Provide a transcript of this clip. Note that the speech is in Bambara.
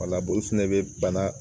Wala olu fɛnɛ bɛ bana